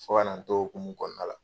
Fɔ ka na n to o hokumu kɔnɔna la.